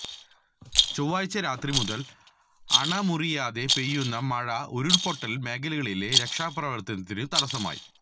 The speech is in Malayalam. ചൊവ്വാഴ്ച രാത്രി മുതല് അണ മുറിയാതെ പെയ്യുന്ന മഴ ഉരുള്പൊട്ടല് മേഖലകളിലെ രക്ഷാപ്രവര്ത്തനത്തിന് തടസമായി